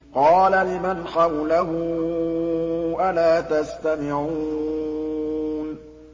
قَالَ لِمَنْ حَوْلَهُ أَلَا تَسْتَمِعُونَ